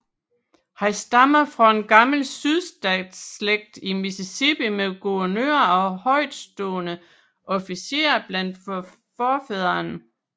Han stammer fra en gammel sydstatsslægt i Mississippi med guvernører og højtstående officerer blandt forfædrene